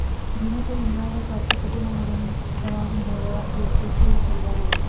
ਜਿਵੇਂ ਕੋਈ ਉਮਰਾਂ ਦਾ ਸਾਥੀ ਕਦੇ ਨਾ ਮੁੜਨ ਦਾ ਨਹੋਰਾ ਦੇ ਕੇ ਤੁਰ ਚੱਲਿਆ ਹੋਵੇ